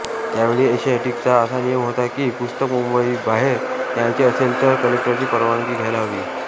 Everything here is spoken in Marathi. त्यावेळी एशियाटिकचा असा नियम होता की पुस्तक मुंबईबाहेर न्यायचे असेल तर कलेक्टरची परवानगी घ्यायला हवी